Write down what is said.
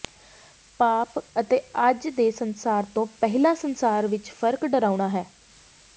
ਪਾਪ ਅਤੇ ਅੱਜ ਦੇ ਸੰਸਾਰ ਤੋਂ ਪਹਿਲਾਂ ਸੰਸਾਰ ਵਿਚ ਫ਼ਰਕ ਡਰਾਉਣਾ ਹੈ